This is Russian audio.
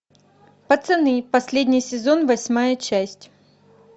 пацаны последний сезон восьмая часть